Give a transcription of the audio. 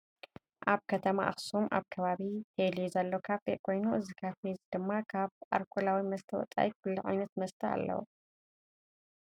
ኣብ ከተማ ኣክሱም ኣብ ከባቢ ቴሌ ዘሎ ካፌ ኮይኑ እዚ ካፌ እዚ ድማ ካበ ኣርኮላዊ መስተ ወፃኢ ኩሉ ዓይነታት መስተ ኣለው።